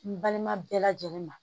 N balima bɛɛ lajɛlen ma.